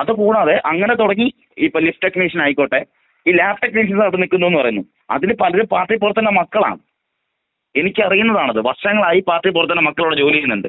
അത് കൂടാതെ അങ്ങനെ തുടങ്ങി ഇപ്പൊ ലിഫ്റ്റ് ടെക്നീഷ്യൻ ആയിക്കോട്ടെ ഈ ലാബ് ടെക്നീഷ്യന്‍ ഒക്കെ നില്‍ക്കുന്നൂന്നു പറഞ്ഞു അവര് പാർട്ടി പ്രവർത്തകരുടെ മക്കളാണ്.എനിക്കറിയുന്നതാണത്. വർഷങ്ങളായി പാർട്ടി പ്രവർത്തകരുടെ മക്കൾ ഇവിടെ ജോലി ചെയ്യുന്നുണ്ട്.